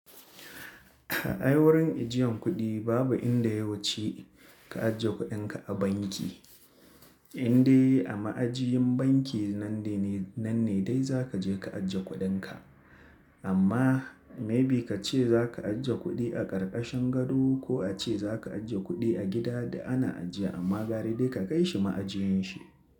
Ai wurin ijiyan kuɗi babu inda ya wuce ka ajiye kuɗinka a banki. Inde a ma'ajiyin banki nan ne dai za ka je ka ajiye kuɗinka. Amma maybe ka ce za ka ajiye kuɗi a ƙarƙashin gado ko a ce za ka ajiye kuɗi a gida du ana ajiya amma gara dai ka kai shi ma'ajiyin shi.